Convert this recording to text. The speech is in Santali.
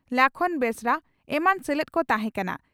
ᱞᱟᱠᱷᱚᱱ ᱵᱮᱥᱨᱟ ᱮᱢᱟᱱ ᱥᱮᱞᱮᱫ ᱠᱚ ᱛᱟᱦᱮᱸ ᱠᱟᱱᱟ ᱾